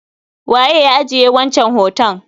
Waye ya ajiye wancan hoton?